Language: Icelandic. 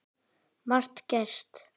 Margt gerst.